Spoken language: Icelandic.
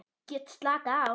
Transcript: Get slakað á.